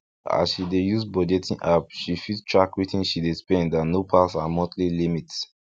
as she dey use budgeting app she fit track wetin she dey spend and no pass her monthly limit